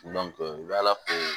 u bɛ ala fo